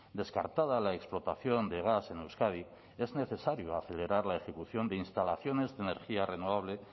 descartada la explotación de gas en euskadi es necesario acelerar la ejecución de instalaciones de energías renovables